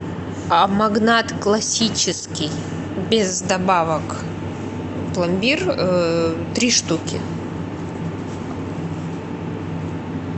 магнат классический без добавок пломбир три штуки